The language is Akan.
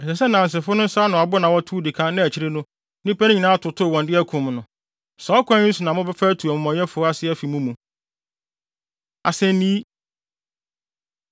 Ɛsɛ sɛ nnansefo no nsa ano abo na wɔtow di kan na akyiri no, nnipa no nyinaa atotow wɔn de de akum no. Saa ɔkwan yi so na mobɛfa atu amumɔyɛfo ase afi mo mu. Asennii